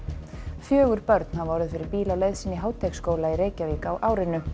fjögur börn hafa orðið fyrir bíl á leið sinni í Háteigsskóla í Reykjavík á árinu